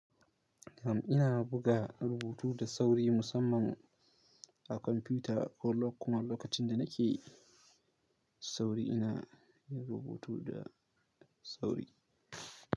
Kam ina buga rubutu da sauri musamman a kwamfuta ko lok kuma lokacin da nake sauri ina yin rubutu da sauri.